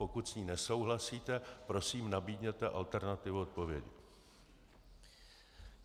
Pokud s ní nesouhlasíte, prosím, nabídněte alternativu odpovědi.